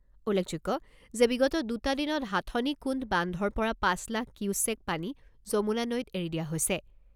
উল্লেখযোগ্য যে বিগত দুটা দিনত হাথনি কুণ্ড বান্ধৰ পৰা পাঁচ লাখ কিউচেক পানী যমুনা নৈত এৰি দিয়া হৈছে।